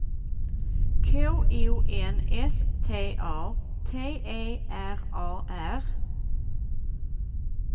K O N S T A T E R A R